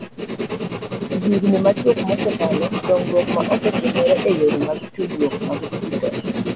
E higini machuok mosekalo, dongruok ma osetimore e yore mag tudruok mag dijitol,